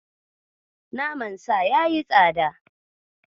Nama Sa ya yi tsada.